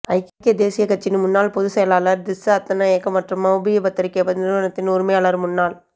ஐக்கிய தேசியக் கட்சியின் முன்னாள் பொதுச் செயலாளர் திஸ்ஸ அத்தநாயக்க மற்றும் மௌபிம பத்திரிகை நிறுவனத்தின் உரிமையாளரும் முன்னாள்